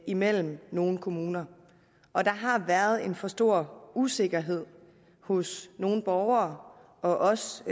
imellem nogle kommuner og der har været en for stor usikkerhed hos nogle borgere og også